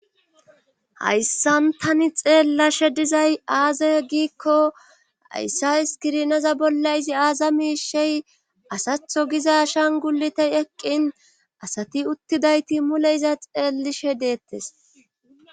Hayssan tani xeellashe dizay aaza giikko hayssa iskirinaza bolla izi aaza miishey asatho giza shanguletey eqqin asati uttidayti mule iza xeelishe deettes.